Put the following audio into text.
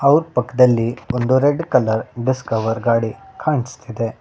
ಅವ್ರ್ ಪಕ್ಕದಲ್ಲಿ ಒಂದು ರೆಡ್ ಕಲರ್ ಡಿಸ್ಕವರ್ ಗಾಡಿ ಕಾಣಸ್ತಿದೆ.